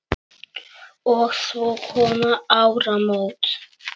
Og svo koma áramót.